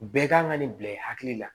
Bɛɛ kan ka nin bila i hakili la